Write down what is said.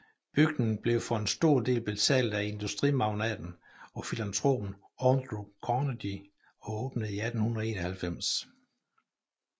Bygningen blev for en stor del betalt af industrimagnaten og filantropen Andrew Carnegie og åbnede i 1891